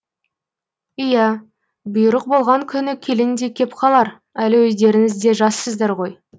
иә бұйрық болған күні келін де кеп қалар әлі өздеріңіз де жассыздар ғой